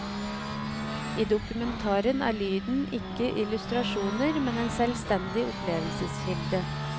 I dokumentaren er lyden ikke illustrasjoner, men en selvstendig opplevelseskilde.